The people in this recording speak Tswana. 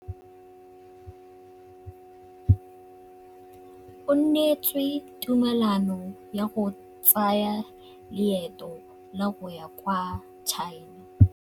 O neetswe tumalanô ya go tsaya loetô la go ya kwa China.